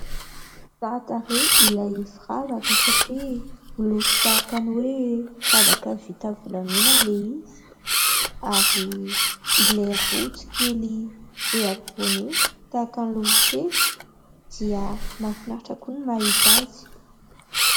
Tsara tarehy ilay firavaka satria niloko tahaka ny hoe : firavaka volamena ilay izy ary ilay rojo kely eo ampovoany io tahaka ny lolokely dia mahafinaritra koa ny mahita azy.